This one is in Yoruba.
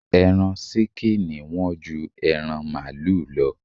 Ẹran ṣíkìnì Wọ́n ju ẹran màlúù lọ